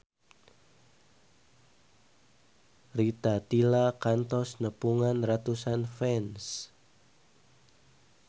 Rita Tila kantos nepungan ratusan fans